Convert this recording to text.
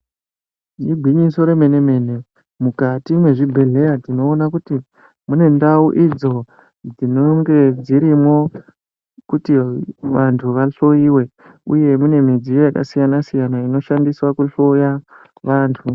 Igwinyiso remenemene mukati mezvibhedheya timoona kuti mune ndau idzo dzinonge dzirimwo kuti vantu vahloiwe uye mune midzoyo yakasiyana-siyana inoshandiswa kuhloya vantu.